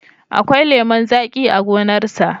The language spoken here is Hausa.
Akwai lemon zaƙi a gonarsa.